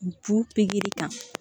Ju pikiri ta